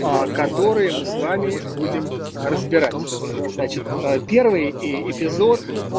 которые мы с вами будем разбирать значит первый и эпизод